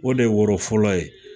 O de ye woro fɔlɔ ye